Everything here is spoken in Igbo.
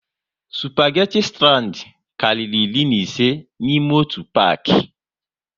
Spageti strand karịrị iri na ise n'ime otu paki